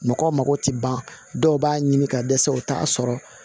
Mɔgɔw mago tɛ ban dɔw b'a ɲini ka dɛsɛ u t'a sɔrɔ